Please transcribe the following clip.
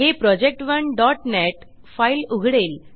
हे project1नेट फाईल उघडेल